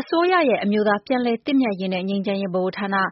အစိုးရရဲ့ အမျိုးသားပြန်လည်သင့်မြတ်ရေးနဲ့ ငြိမ်းချမ်းရေးဗဟိုဌာန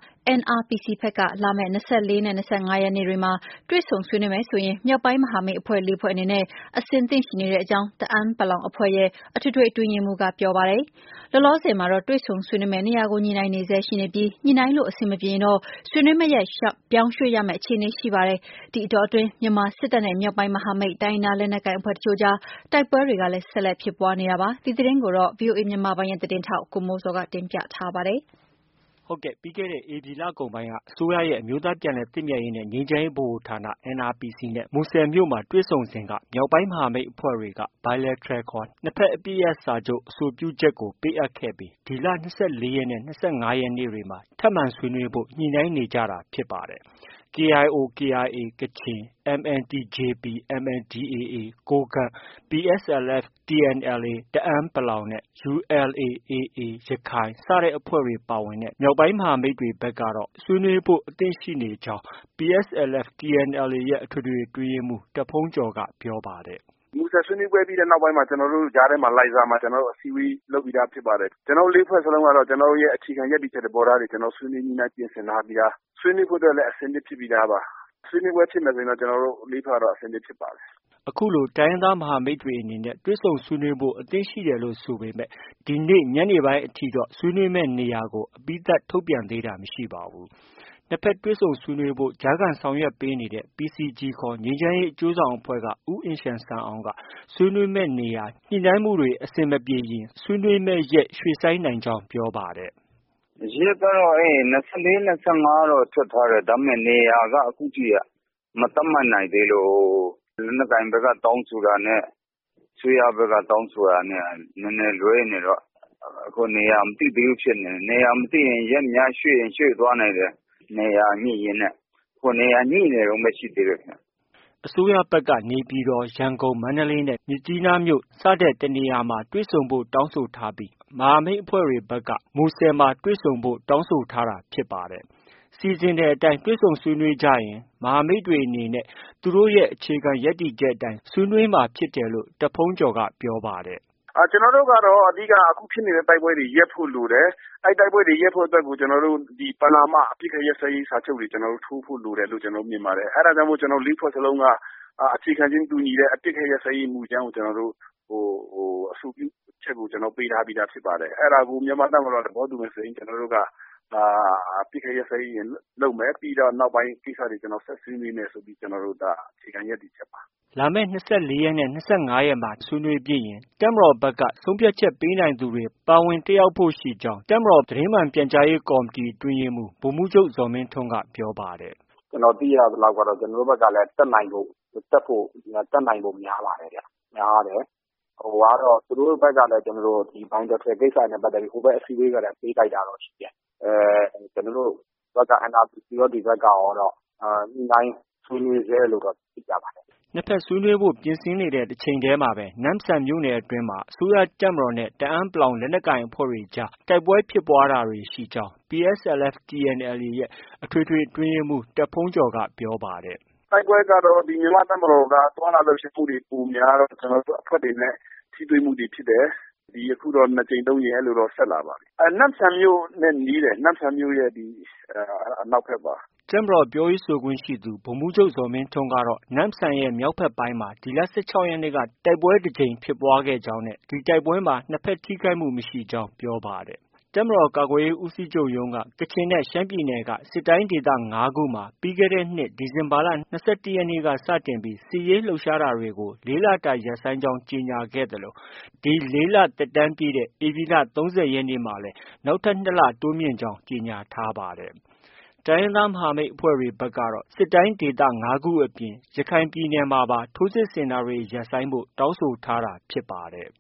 NRPC ဘက်က လာမယ့် ၂၄ နဲ့ ၂၅ ရက်နေ့တွေမှာ တွေ့ဆုံဆွေးနွေးမယ်ဆိုရင် မြောက်ပိုင်းမဟာမိတ်အဖွဲ့ ၄ ဖွဲ့ အနေနဲ့ အဆင်သင့်ရှိနေကြောင်း တအန်း အဖွဲ့ရဲ့ အထွေထွေ အတွင်းရေးမှူးက ပြောပါတယ်။ လောလောဆယ်မှာတော့ တွေ့ဆုံဆွေးနွေးမယ့် နေရာကို ညှိနှိုင်းနေဆဲရှိနေပြီး ညှိနှိုင်းလို့ အဆင်မပြေရင်တော့ ဆွေးနွေးမယ့်ရက် ပြောင်းရွှေ့ရမယ့် အခြေအနေ ရှိနေပါတယ်။ ဒီအတောအတွင်း မြန်မာစစ်တပ်နဲ့ မြောက်ပိုင်း မဟာမိတ် တိုင်းရင်းသား လက်နက်ကိုင်အဖွဲ့တချို့ကြား တိုက်ပွဲတွေကလည်း ဆက်လက် ဖြစ်ပွားနေတာပါ။ ဒီသတင်းကိုတော့ ဗွီအိုအေမြန်မာပိုင်းရဲ့ သတင်းထောက် ကိုမိုးဇော်က တင်ပြထားပါတယ်။ ပြီးခဲ့တဲ့ ဧပြီလကုန်ပိုင်းက အစိုးရရဲ့ အမျိုးသားပြန်လည်သင့်မြတ်ရေးနဲ့ ငြိမ်းချမ်းရေးဗဟိုဌာန NRPC နဲ့ မူဆယ်မြို့မှာတွေ့ဆုံစဉ်က မြောက်ပိုင်းမဟာမိတ် အဖွဲ့တွေက Bilateral ခေါ် နှစ်ဘက်အပစ်ရပ်စာချုပ် အဆိုပြုချက်ကို ပေးအပ်ခဲ့ပြီး ဒီလ ၂၄ ရက်နဲ့ ၂၅ ရက်နေ့တွေမှာ ထပ်မံ ဆွေးနွေးဖို့ ညှိနှိုင်းနေကြတာဖြစ်ပါတယ်။ KIO/KIA ကချင်၊ MNTJP/ MNDAA ကိုးကန့်၊ PSLF/TNLA တအန်း ၊ ULA/AA ရခိုင်အဖွဲ့တွေ ပါဝင်တဲ့ မြောက်ပိုင်း မဟာမိတ်အဖွဲ့တွေဘက်ကတော့ ဆွေးနွေးဖို့ အသင့်ရှိနေကြောင်း PSLF/TNLA ရဲ့ အထွေထွေအတွင်းရေးမှူး တားဘုန်းကျော်က ပြောပါတယ်။ “မူဆယ်ဆွေးနွေးပွဲပြီးတဲ့နောက်မှာ ကျနော်တို့ ကြားထဲမှာ လိုင်ဇာမှာ ကျနော်တို့ အစည်းအဝေးလုပ်ပြီးသား ဖြစ်ပါတယ်။ ကျနော်တို့ ၄ဖွဲ့ စလုံးကတော့ ကျနော်တို့ အခြေခံ ရပ်တည်ချက် သဘောထားတွေ ကျနော်တို့ ဆွေးနွေးပြင်ဆင်ထားပြီးသား။ ဆွေးနွေးဖို့လည်း အဆင်သင့်ဖြစ်ပြီးသားပါ။ ဆွေးနွေးပွဲဖြစ်မယ်ဆိုရင်တော့ ကျနော်တို့ ၄ ဖွဲ့က အဆင်သင့် ဖြစ်ပါတယ်။ ” အခုလို တိုင်းရင်းသားမဟာမိတ်တွေ အနေနဲ့ တွေ့ဆုံဆွေးနွေးဖို့ အဆင်သင့်ရှိတယ်လို့ ဆိုပေမဲ့လည်း ဒီနေ့ ညနေပိုင်းအထိတော့ ဆွေးနွေးမယ့် နေရာကို အပြီးသတ် ထုတ်ပြန်တာ မရှိသေးပါဘူး။ နှစ်ဘက် တွေ့ဆုံဆွေးနွေးဖို့ ကြားခံဆောင်ရွက်ပေးနေတဲ့ PCG ခေါ် ကချင်ငြိမ်းချမ်းရေး အကျိုးဆောင်အဖွဲ့က ဦးအင်ရှန်ဆန်အောင်က ဆွေးနွေးမယ့်နေရာ ညှိနှိုင်းမှုတွေ အဆင်မပြေရင် ဆွေးနွေးမယ့်ရက် ရွှေ့ဆိုင်းရနိုင်ကြောင်း ပြောပါတယ်။ “ရက်ကတော့ ၂၄၊ ၂၅ ထွက်ထားတယ်။ ဒါပေမဲ့ နေရာက အခုထိ မသတ်မှတ်နိုင်သေးလို့.. ဟို လက်နက်ကိုင်ဘက်က တောင်းဆိုတာနဲ့ အစိုးရဘက်က တောင်းဆိုတာနဲ့က နည်းနည်းလွဲနေတော့ အခု နေရာ မသိသေးဘူးဖြစ်နေတယ်။ အခုနေရာ မသိရင် ရက်များ ရွှေ့ချင် ရွှေ့သွားနိုင်တယ်။ နေရာညှိရင်းနဲ့ ။ အခု နေရာညှိနေတုံးပဲ ရှိသေးတယ်။” အစိုးရဘက်က နေပြည်တော်၊ ရန်ကုန်၊ မန္တလေးနဲ့ မြစ်ကြီးနားမှာ တွေ့ဆုံဖို့ တောင်းဆိုထားပြီး မဟာမိတ်အဖွဲ့တွေကတော့ မူဆယ်မှာပဲ တွေ့ဆုံဖို့ တောင်းဆိုထားတာဖြစ်ပါတယ်။ စီစဉ်တဲ့အတိုင်း တွေ့ဆုံဆွေးနွေးကြရင်တော့ မဟာမိတ်အဖွဲ့တွေအနေနဲ့ သူတို့ရဲ့ အခြေခံ ရပ်တည်ချက်အတိုင်း ဆွေးနွေးသွားမှာဖြစ်တယ်လို့ တားဘုန်းကျော်က ပြောပါတယ်။ “ကျနော်တို့ကတော့ အဓိကက အခုဖြစ်နေတဲ့ တိုက်ပွဲတွေ ရပ်ဖို့ လိုတယ်။ အဲဒီတိုက်ပွဲတွေ ရပ်ဖို့ကို ပဏာမ အပစ်အခတ် ရပ်စဲရေးစာချုပ်တွေ ကျနော်တို့ ထိုးဖို့ လိုတယ်လို့ မြင်ပါတယ်။ အဲဒါကြောင့် ကျနော်တို့ ၄ဖွဲ့စလုံးက အခြေခံခြင်းတူညီတဲ့ အပစ်အခတ်ရပ်စဲရေးမူကြမ်းကို အဆိုပြုချက်ကို ကျနော်တို့ ပေးထားပြီးသားဖြစ်ပါတယ်။ အဲဒါကို မြန်မာ့တပ်မတော်က သဘောတူရင် ကျနော်တို့က အပစ်အခတ် ရပ်စဲရေးလုပ်မယ်။ ပြီးရင် နောက်ပိုင်းကိစ္စတွေ ဆက်ဆွေးနွေးမယ်ဆိုပြီး ကျနော်တို့က အခြေခံ ရပ်တည်ချက်ပါတယ်။ ” လာမယ့် ၂၄ရက်နဲ့ ၂၅ရက်မှာ ထပ်မံဆွေးနွေးဖြစ်ရင် တပ်မတော်ဘက်က ဆုံးဖြတ်ချက်ပေးနိုင်သူတွေ ပါဝင်တက်ရောက်ဖို့ ရှိကြောင်း တပ်မတော် သတင်းမှန်ပြန်ကြားရေးကော်မတီ အတွင်းရေးမှူး ဗိုလ်မှူးချုပ်ဇော်မင်းထွန်းက ပြောပါတယ်။ “ကျနော်သိရသလောက်တော့ ကျနော်တို့ဘက်ကလည်း တက်နိုင်ဖို့ များပါတယ်ခင်ဗျ။ များတယ်။ သူတို့ဘက်ကလည်း ကျနော်တို့ Bilateral ကိစ္စတွေနဲ့ပတ်သက်ပြီး ဟိုဘက် အစည်းအဝေးကတည်းက ပေးလိုက်တာတော့ ရှိတယ်။ ကျနော်တို့ဘက်က NRPC ရော ဒီဘက်ကရောတော့ ညှိနှိုင်းဆွေးနွေးဆဲလို့တော့ သိရပါတယ်။” နှစ်ဘက်ဆွေးနွေးဖို့ ပြင်ဆင်နေတဲ့ တစ်ချိန်တည်းမှာပဲ နမ့်ဆန်မြို့နယ်အတွင်းမှာ အစိုးရတပ်မတော်နဲ့ တအန်း လက်နက်ကိုင်အဖွဲ့အကြား တိုက်ပွဲဖြစ်ပွားတာတွေရှိကြောင်း PSLF/ TNLA ရဲ့ အထွေထွေအတွင်းရေးမှူး တာ့ဘုန်းကျော်က ပြောပါတယ်။ “တိုက်ပွဲကတော့ မြန်မာ့ တပ်မတော်က သွားလာလှုပ်ရှားမှုတွေပိုများတော့ ကျနော်တို့အဖွဲ့တွေနဲ့ ထိတွေ့မှုတွေဖြစ်တယ်။ အခုတော့ ၂ ကြိမ် ၃ ကြိမ် အဲလိုတော့ ဆက်လာပါတယ်။ နမ့်ဆန်မြို့နဲ့ နီးတယ်။ နမ့်ဆန်မြို့ရဲ့ အနောက်ဘက်ပါ။" တပ်မတော်ပြောရေးဆိုခွင့်ရှိသူ ဗိုလ်မှုးချုပ် ဇော်မင်းထွန်းကတော့ နမ့်ဆန်ရဲ့ မြောက်ဘက်ပိုင်းမှာ ဒီလ ၁၆ ရက်နေ့က တိုက်ပွဲ တစ်ကြိမ်တိုက်ပွဲဖြစ်ပွားကြောင်း၊ ဒီတိုက်ပွဲမှာ နှစ်ဘက်အထိအခိုက်မရှိခဲ့ကြောင်း ပြောပါတယ်။ တပ်မတော်ကာကွယ်ရေးဦးစီးချုပ်ရုံးက ကချင်နဲ့ ရှမ်းပြည်နယ်က စစ်တိုင်းဒေသ ၅ခုမှာ ပြီးခဲ့တဲ့နှစ် ဒီဇင်ဘာလ ၂၁ ရက်နေ့က စစ်ရေးလှုပ်ရှားတာတွေ ကို ၄ လတာ ရပ်ဆိုင်းကြောင်း ကြေညာခဲ့သလို ဒီ ၄ လ သက်တမ်းပြည့်တဲ့ ဧပြီလ ၃၀ ရက်နေ့မှာလည်း နောက်ထပ် ၂ လ ထပ်မံတိုးမြင့်ကြောင်း ကြေညာထားပါတယ်။ တိုင်းရင်းသား မဟာမိတ်အဖွဲ့တွေကတော့ စစ်တိုင်းဒေသ ၅ခုအပြင် ရခိုင်ပြည်နယ်မှာပါ ထိုးစစ်ဆင်တာတွေ ရပ်ဆိုင်းဖို့ တောင်းဆိုထားတာ ဖြစ်ပါတယ်